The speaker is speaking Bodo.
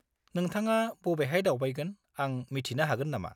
-नोंथाङा बबेहाय दावबायगोन आं मिथिनो हागोन नामा?